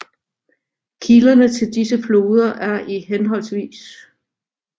Kilderne til disse floder er i hhv